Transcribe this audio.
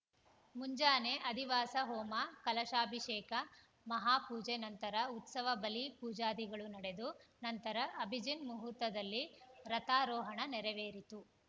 ಮುಂಜಾನೆ ಅಧಿವಾಸ ಹೋಮ ಕಲಶಾಭಿಷೇಕ ಮಹಾಪೂಜೆ ನಂತರ ಉತ್ಸವ ಬಲಿ ಪೂಜಾದಿಗಳು ನಡೆದು ನಂತರ ಅಭಿಜಿನ್‌ ಮುಹೂರ್ತದಲ್ಲಿ ರಥಾರೋಹಣ ನೆರವೇರಿತು